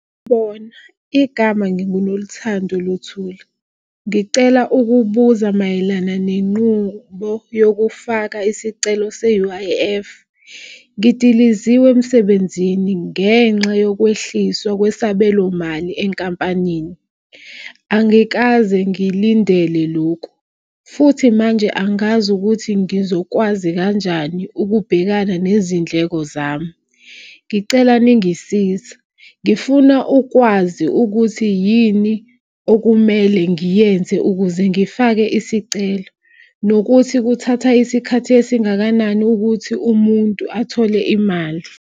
Bona, igama nginguNoluthando Luthuli. Ngicela ukubuza mayelana nenqubo yokufaka isicelo se-U_I_F. Ngidiliziwe emsebenzini ngenxa yokwehliswa kwesabelomali enkampanini. Angikaze ngilindele loku futhi manje angazi ukuthi ngizokwazi kanjani ukubhekana nezindleko zami. Ngicela ningisiza, ngifuna ukwazi ukuthi yini okumele ngiyenze ukuze ngifake isicelo. Nokuthi kuthatha isikhathi esingakanani ukuthi umuntu athole imali.